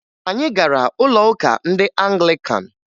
Anyị gara ụlọụka ndị Anglikan